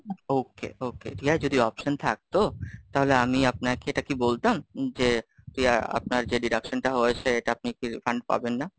okay, okay, Riya যদি option থাকতো? তাহলে আমি আপনাকে এটা কি বলতাম? যে আপনার যে deduction টা হয়েছে, এটা আপনি কি refund পাবেন না?